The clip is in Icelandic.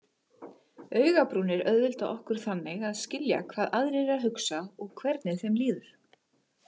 Augabrúnir auðvelda okkur þannig að skilja hvað aðrir eru að hugsa og hvernig þeim líður.